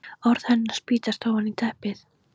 Orð hennar spýtast ofan í teppið.